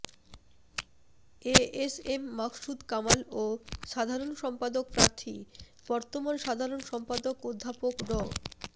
এ S M Maksud Kamal ও সাধারণ সম্পাদক প্রার্থী বর্তমান সাধারণ সম্পাদক অধ্যাপক ড